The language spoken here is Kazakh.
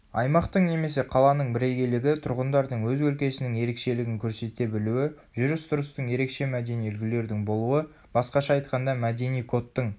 аймақтың немесе қаланың бірегейлігі тұрғындардың өз өлкесінің ерекшелігін көрсете білуі жүріс-тұрыстың ерекше мәдени үлгілердің болуы басқаша айтқанда мәдени кодтың